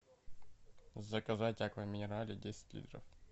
заказать аква минерале десять литров